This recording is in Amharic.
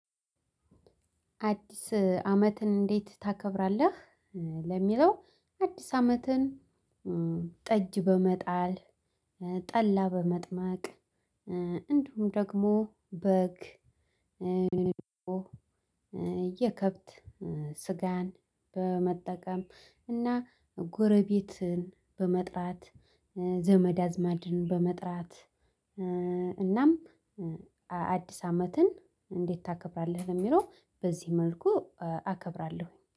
አዲስ አመትን እንዴት ታከብራለህ? ለሚለው አዲስ አመትን ጠጅ በመጣል ጠላ በመጥመቅ እንዲሁም ደግሞ በግ። የከብት ስጋን በመጠቀም እና ጎረቤትን በመጥራት ዘመድ አዝማድን በመጥራት። እናም አዲስ አመትን እንዴት ታከብራለህ? ለሚለው በዚህ መልኩ አከብራለሁኝ